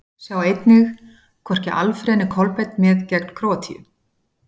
Sjá einnig: Hvorki Alfreð né Kolbeinn með gegn Króatíu?